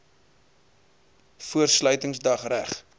voor sluitingsdag reg